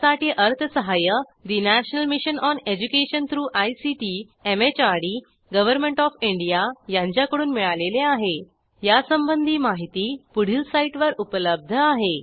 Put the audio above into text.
यासाठी अर्थसहाय्य national mission on education through ICT MHRD government of India यांच्याकडून मिळालेले आहेयासंबंधी माहिती पुढील साईटवर उपलब्ध आहे